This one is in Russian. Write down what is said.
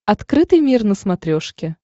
открытый мир на смотрешке